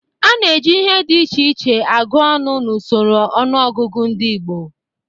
A na-eji ihe dị iche iche agụ ọnụ n'usoro ọnụọgụgụ ndị Igbo.